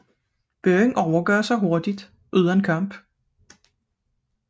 Byen overgav sig hurtigt uden kamp